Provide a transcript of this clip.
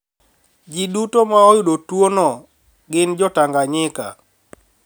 Ji duto ma oyudo tuo no gin Jo-Tanganyika,